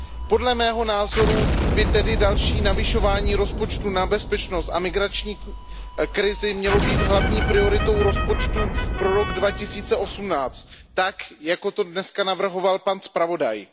Podle mého názoru by tedy další navyšování rozpočtu na bezpečnost a migrační krizi mělo být hlavní prioritou rozpočtu pro rok 2018 tak, jako to dnes navrhoval pan zpravodaj.